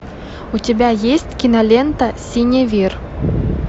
у тебя есть кинолента синевир